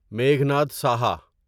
Meghnad Saha